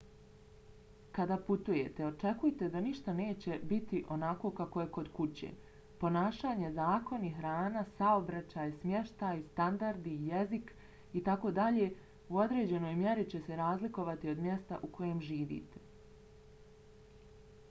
kada putujete očekujte da ništa neće niti onako kako je kod kuće . ponašanje zakoni hrana saobraćaj smještaj standardi jezik itd. u određenoj mjeri će se razlikovati od mjesta u kojem živite